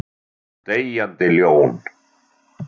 Deyjandi ljón.